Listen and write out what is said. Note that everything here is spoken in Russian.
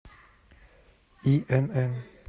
инн